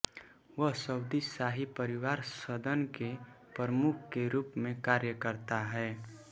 वह सऊदी शाही परिवार सदन के प्रमुख के रूप में कार्य करता है